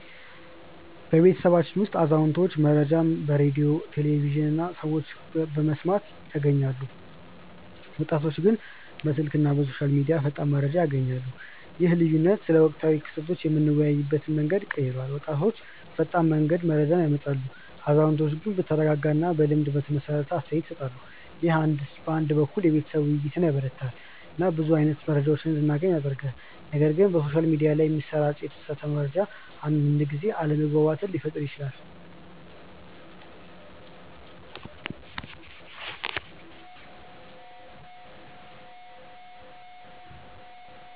በቤተሰባችን ውስጥ አዛውንቶች መረጃን በሬዲዮ፣ ቴሌቪዥን እና ከሰዎች በመስማት ያገኛሉ፣ ወጣቶች ግን በስልክ እና በሶሻል ሚዲያ ፈጣን መረጃ ያገኛሉ። ይህ ልዩነት ስለ ወቅታዊ ክስተቶች የምንወያይበትን መንገድ ቀይሯል፤ ወጣቶች ፈጣን መረጃ ያመጣሉ፣ አዛውንቶች ግን በተረጋጋ እና በልምድ የተመሰረተ አስተያየት ይሰጣሉ። ይህ አንድ በኩል የቤተሰብ ውይይትን ያበረታታል እና ብዙ አይነት መረጃ እንዲገናኝ ያደርጋል፣ ነገር ግን በሶሻል ሚዲያ ላይ የሚሰራጭ የተሳሳተ መረጃ አንዳንድ ጊዜ አለመግባባት ሊፈጥር ይችላል